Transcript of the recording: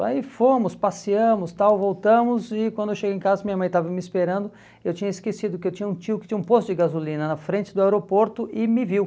Aí fomos, passeamos, tal voltamos e quando eu cheguei em casa minha mãe estava me esperando, eu tinha esquecido que eu tinha um tio que tinha um posto de gasolina na frente do aeroporto e me viu.